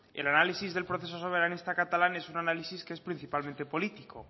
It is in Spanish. el análisis del proceso soberanista catalán es un análisis que es principalmente político